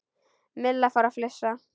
Milla fór að flissa.